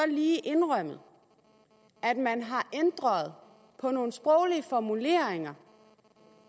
lige indrømmet at man har ændret nogle sproglige formuleringer